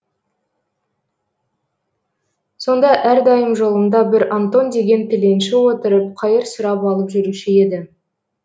сонда әрдайым жолымда бір антон деген тіленші отырып қайыр сұрап алып жүруші еді